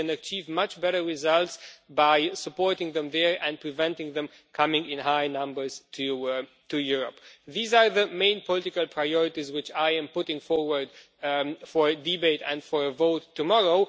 We can achieve much better results by supporting them there and preventing them from coming in high numbers to Europe. These are the main political priorities which I am putting forward for debate and for vote tomorrow.